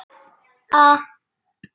Fyrir hádegi.